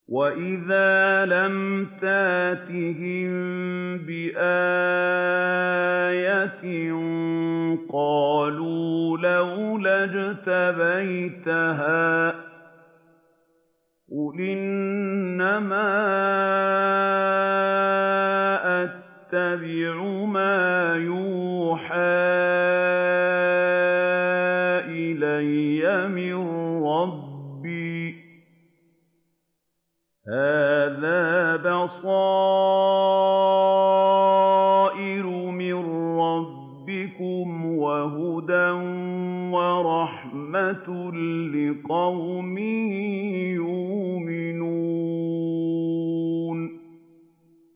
وَإِذَا لَمْ تَأْتِهِم بِآيَةٍ قَالُوا لَوْلَا اجْتَبَيْتَهَا ۚ قُلْ إِنَّمَا أَتَّبِعُ مَا يُوحَىٰ إِلَيَّ مِن رَّبِّي ۚ هَٰذَا بَصَائِرُ مِن رَّبِّكُمْ وَهُدًى وَرَحْمَةٌ لِّقَوْمٍ يُؤْمِنُونَ